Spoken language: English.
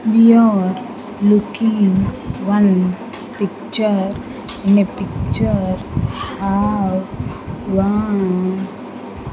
We are looking one picture in a picture have one --